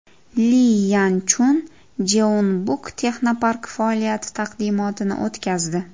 Li Yan Chun Jeonbuk texnoparki faoliyati taqdimotini o‘tkazdi.